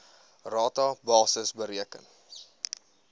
rata basis bereken